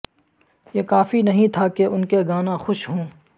یہ کافی نہیں تھا کہ ان کے گانا خوش ہوں